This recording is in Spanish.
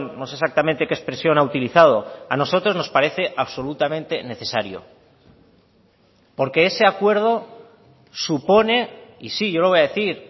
no sé exactamente qué expresión ha utilizado a nosotros nos parece absolutamente necesario porque ese acuerdo supone y sí yo lo voy a decir